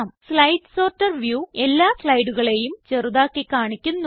slide sorter view എല്ലാ സ്ലൈഡുകളെയും ചെറുതാക്കി കാണിക്കുന്നു